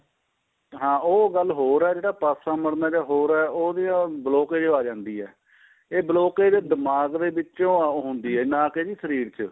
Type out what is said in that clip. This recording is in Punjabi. ਹਾਂ ਉਹ ਗੱਲ ਹੋਰ ਏ ਜਿਹੜਾ ਪਾਸਾ ਮਰਨਾ ਜਾਂ ਹੋਰ ਏ ਉਹਦੀ ਉਹ blockage ਆ ਜਾਂਦੀ ਏ ਇਹ blockage ਦਿਮਾਗ਼ ਦੇ ਵਿਚੋਂ ਹੁੰਦੀ ਏ ਨਾ ਕੇ ਸ਼ਰੀਰ ਚ